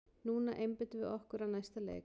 Núna einbeitum við okkur að næsta leik!